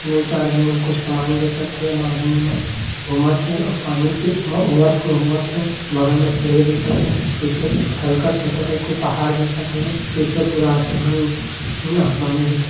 दू चार झन मन कुछ सामान बेचत हे येमा आदमी मन घूमत हे अउ पानी के इमा ओवरफ्लो होवत हे बगल में सीढ़ी दिखत हे पीछे हल्का छोटे टाइप के पहाड़ दिखत हवय पीछे पूरा आसमान न आसमानी दिखत।